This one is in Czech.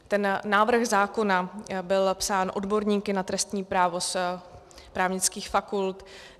Ten návrh zákona byl psán odborníky na trestní právo z právnických fakult.